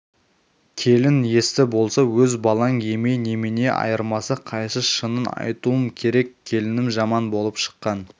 келін есті болса өз балаң емей немене айырмасы қайсы шынын айтуым керек келінім жаман болып шыққан